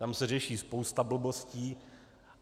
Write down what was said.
Tam se řeší spousta blbostí.